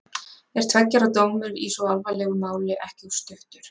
Er tveggja ára dómur í svo alvarlegu máli ekki of stuttur?